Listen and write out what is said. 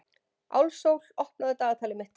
Álfsól, opnaðu dagatalið mitt.